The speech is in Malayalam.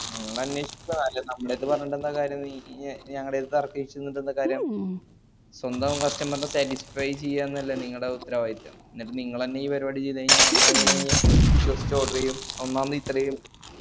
നിങ്ങളന്നേഷട്ട് കാര്യല്ല ഞമ്മളട്ത്ത് പറഞ്ഞിട്ടന്താ കാര്യം നീയ്യ് ഞങ്ങള്ട്ത്ത് തർക്കിചനിന്നിട്ടെന്താ കാര്യം സ്വന്തം customer നെ statisfy ചെയ്യന്നല്ലേ നിങ്ങളെ ഉത്തരവായിത്തം ന്നിട്ട് നിങ്ങളെന്നെ ഈ പരിപാടി ചെയ്‌ത്ഴിഞ്ഞാൽ നമ്മളെങ്ങനെ ഇനി വിഷോസ്ച് order ഈയും ഒന്നാമത് ഇതരീം